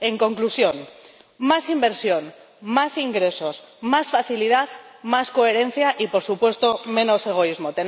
En conclusión más inversión, más ingresos, más facilidad, más coherencia y, por supuesto, menos egoísmo.